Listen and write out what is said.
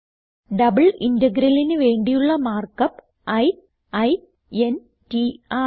double integralന് വേണ്ടിയുള്ള mark up i i n t ആണ്